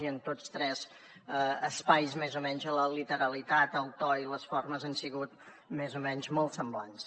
i en tots tres espais més o menys la literalitat el to i les formes han sigut més o menys molt semblants